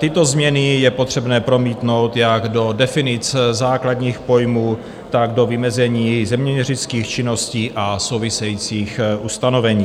Tyto změny je potřebné promítnout jak do definic základních pojmů, tak do vymezení zeměměřických činností a souvisejících ustanovení.